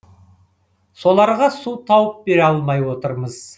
соларға су тауып бере алмай отырмыз